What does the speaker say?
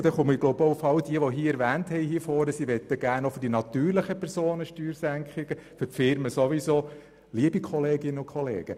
– Und damit komme ich zu denjenigen, die auch für die natürlichen Personen Steuersenkungen wünschen und für die Firmen sowieso.